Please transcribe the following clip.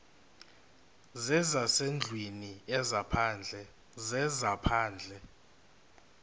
zezasendlwini ezaphandle zezaphandle